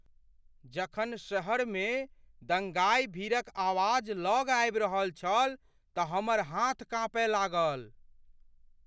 जखन शहरमे दंगाइ भीड़क आवाज लग आबि रहल छल तऽ हमर हाथ काँपय लागल।